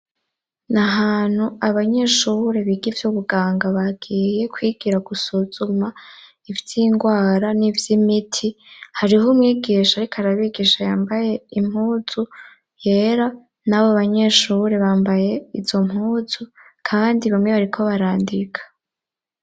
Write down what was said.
Na hantu abanyeshuhure biga ivyo ubuganga bagiye kwigira gusuzuma ivyo ingwara n'ivyo imiti hariho umwigisha, ariko arabigisha yambaye impuzu yera na bo banyeshuhure bambaye izo mpuzu kaandi bamwe bariko barandika.